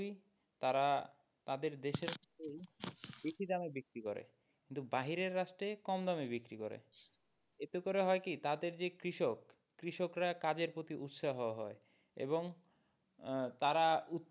তারা তাদের দেশের কেই বেশি দামে বিক্রি করে কিন্তু বাহিরের রাষ্ট্রে কম দামে বিক্রি করে এতে করে হয় কি তাদের যে কৃষক, কৃষকরা কাজের প্রতি উৎসাহ হয় এবং আহ তারা,